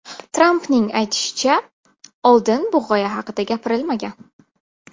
Trampning aytishicha, oldin bu g‘oya haqida gapirilmagan.